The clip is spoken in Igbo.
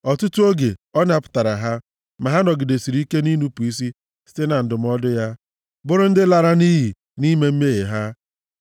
Ọtụtụ oge, ọ napụtara ha, ma ha nọgidesịrị ike nʼinupu isi site na ndụmọdụ ya, bụrụ ndị lara nʼiyi nʼime mmehie ha.